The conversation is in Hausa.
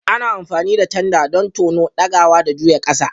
Ana amfani da tanda don tono, ɗagawa, da juya ƙasa.